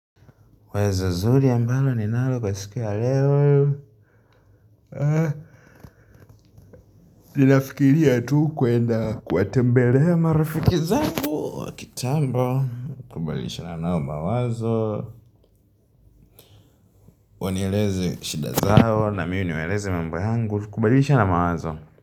Wazo nzuri ambalo ninalo kwa siku ya leo Ninafikiria tu kwenda kuwatembelea marafiki zangu wa kitambo, kubadilishana nao mawazo, Wanieleze shida zao, na mimi niwaeleze mambo yangu, kubadalishana mawazo.